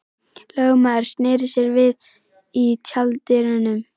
Lögmaðurinn sneri sér við í tjalddyrunum.